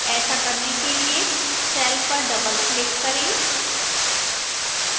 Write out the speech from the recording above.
ऐसा करने के लिए cell पर doubleclick करें